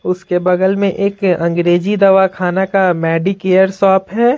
उसके बगल में एक अंग्रेजी दवाखाना का मेडिकेयर शॉप है।